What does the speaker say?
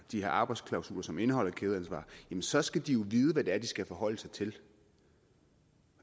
de her arbejdsklausuler som indeholder kædeansvar så skal de jo vide hvad det er de skal forholde sig til